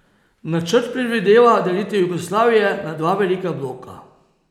Načrt predvideva delitev Jugoslavije na dva velika bloka.